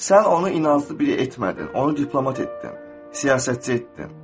Sən onu inanc birə etmədin, onu diplomat etdin, siyasətçi etdin.